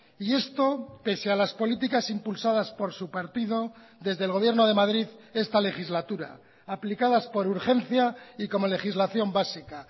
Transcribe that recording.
y esto pese a las políticas impulsadas por su partido desde el gobierno de madrid esta legislatura aplicadas por urgencia y como legislación básica